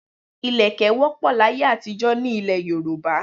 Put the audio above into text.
Ilẹ̀kẹ̀ wọ́pọ̀ láyé àtijọ́ nílẹ̀ Yorùbá.